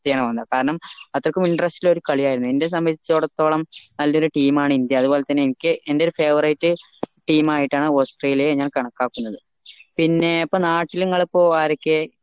അവസ്ഥയാവന്നെ കാരണം അത്രക്കും interest ഉള്ള ഒരു കളിയായിരുന്നു എന്നെ സംബന്ധിച്ചടത്തോളം നല്ലൊരു team ആണ് ഇന്ത്യ അതുപോലതന്നെ എനിക്ക് എൻ്റെ favourite team ആയിട്ടാണ് ഓസ്‌ട്രേലിയയെ ഞാൻ കണക്കാക്കുന്നത് പിന്നെ ഇപ്പൊ നാട്ടിൽ ഇപ്പൊ നിങ്ങൾ ആരൊക്കെ